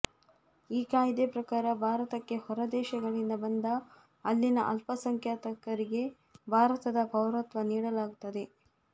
ಈ ಕಾಯಿದೆ ಪ್ರಕಾರ ಭಾರತಕ್ಕೆ ಹೊರದೇಶಗಳಿಂದ ಬಂದ ಅಲ್ಲಿನ ಅಲ್ಲಸಂಖ್ಯಾಂಕರಿಗೆ ಭಾರತದ ಪೌರತ್ವ ನೀಡಲಾಗುತ್ತದೆ